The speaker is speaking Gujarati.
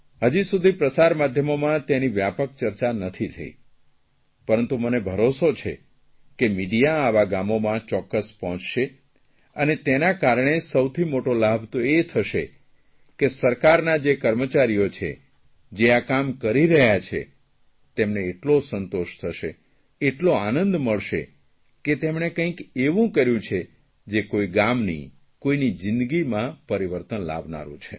હજી સુધી પ્રસારમાધ્યમોમાં તેની વ્યાપક ચર્ચા નથી થઇ પરંતુ મને ભરોસો છે કે મીડિયા આવાં ગામોમાં ચોક્કસ પહોંચશે અને તેના કારણે સૌથી મોટો લાભ તો એ થશે કે સરકારના જે કર્મચારીઓ છે જે આ કામ કરી રહ્યા છે તેમને એટલો સંતોષ થશે એટલો આનંદ મળશે કે તેમણે કાંઇક એવું કર્યું છે જે કોઇ ગામની કોઇ જીંદગીમાં પરિવર્તન લાવનારૂં છે